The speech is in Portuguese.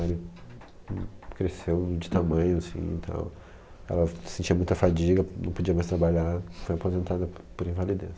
Ele cresceu de tamanho assim e tal, ela sentia muita fadiga, não podia mais trabalhar, foi aposentada por invalidez.